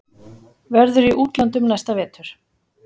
Verður í útlöndum næsta vetur.